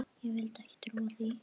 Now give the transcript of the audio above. Ég vildi ekki trúa því.